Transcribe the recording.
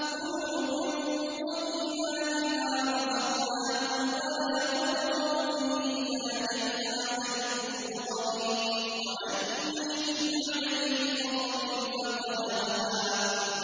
كُلُوا مِن طَيِّبَاتِ مَا رَزَقْنَاكُمْ وَلَا تَطْغَوْا فِيهِ فَيَحِلَّ عَلَيْكُمْ غَضَبِي ۖ وَمَن يَحْلِلْ عَلَيْهِ غَضَبِي فَقَدْ هَوَىٰ